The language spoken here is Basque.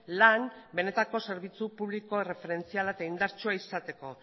lan egin benetako zerbitzu publiko erreferentziala eta indartsua izateko